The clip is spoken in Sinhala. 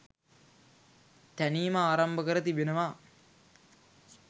තැනීම ආරම්භ කර තිබෙනවා.